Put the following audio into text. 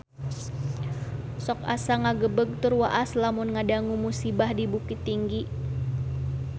Sok asa ngagebeg tur waas lamun ngadangu musibah di Bukittinggi